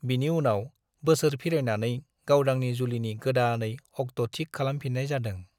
बिनि उनाव बोसोर फिरायनानै गावदांनि जुलिनि गोदानै अक्ट'थिक खालामफिन्नाय जादों।